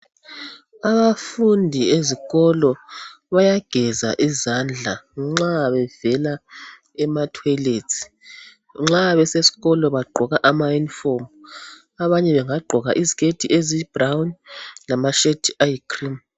Abafundi ezikolo bayageza izandla nxa bevela ematoilets . Nxa beseskolo bagqoka ama uniform, abanye bengagqoka iziketi ezibrown lamashirt ayi cream .